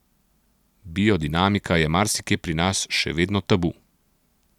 Biodinamika je marsikje pri nas še vedno tabu.